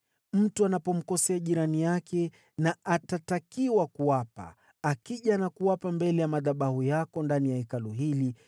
“Mtu anapomkosea jirani yake na akatakiwa kuapa, akija na kuapa mbele ya madhabahu yako ndani ya Hekalu hili,